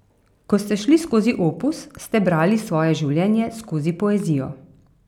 Ko ste šli skozi opus, ste brali svoje življenje skozi poezijo.